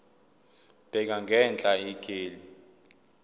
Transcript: bheka ngenhla ikheli